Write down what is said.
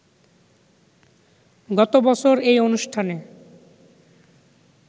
গত বছর এই অনুষ্ঠানে